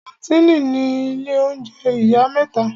Kàńtìnì ni ilé oúnjẹ ìyá mẹ́ta.